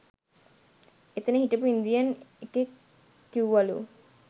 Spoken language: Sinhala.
එතන හිටපු ඉන්දියන් එකෙක් කිව්වලු